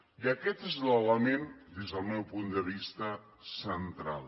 i aquest és l’element des del meu punt de vista central